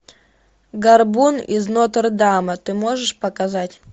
горбун из нотр дама ты можешь показать